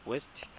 west